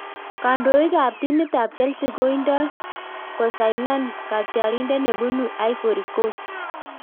Kandoik ab timit ab Chelsea koindo kosainan katyarindet nebunu Ivory Coast